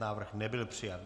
Návrh nebyl přijat.